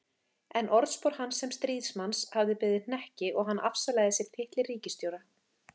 En orðspor hans sem stríðsmanns hafði beðið hnekki og hann afsalaði sér titli ríkisstjóra.